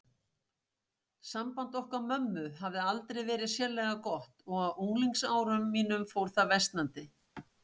Samband okkar mömmu hafði aldrei verið sérlega gott og á unglingsárum mínum fór það versnandi.